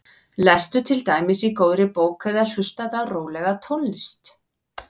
Lestu til dæmis í góðri bók eða hlustaðu á rólega tónlist.